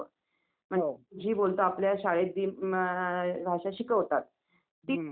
बरं बरं ठीक आहे यात्रेला जातात ना?